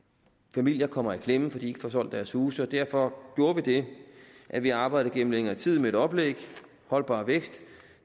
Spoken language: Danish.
familier kommer i klemme fordi de ikke får solgt deres huse og derfor gjorde vi det at vi arbejdede gennem længere tid med et oplæg holdbar vækst